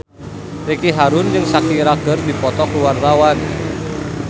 Ricky Harun jeung Shakira keur dipoto ku wartawan